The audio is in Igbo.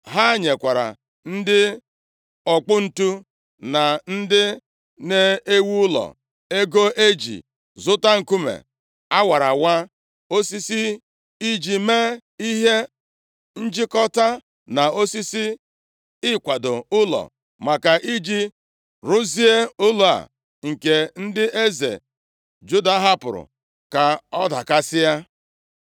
Ha nyekwara ndị ọkpọ ǹtu na ndị na-ewu ụlọ ego iji zụta nkume a wara awa, osisi iji mee ihe njikọta na osisi ịkwado ụlọ, maka iji rụzie ụlọ a nke ndị eze Juda hapụrụ ka ọ dakasịa.